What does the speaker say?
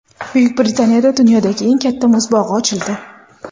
Buyuk Britaniyada dunyodagi eng katta muz bog‘i ochildi .